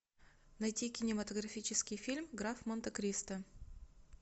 найти кинематографический фильм граф монте кристо